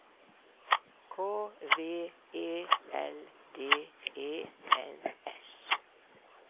K V E L D E N S